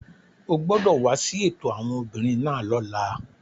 O gbọdọ wa si eto awọn obinrin naa lọla!